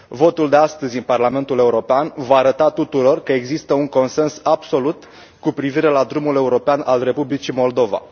Votul de astăzi în Parlamentul European va arăta tuturor că există un consens absolut cu privire la drumul european al Republicii Moldova.